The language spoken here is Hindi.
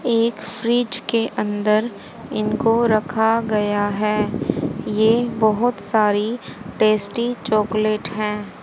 एक फ्रिज के अंदर इनको रखा गया है ये बहोत सारी टेस्टी चॉकलेट हैं।